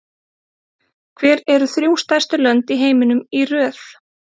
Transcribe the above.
Hver eru þrjú stærstu lönd í heiminum í röð?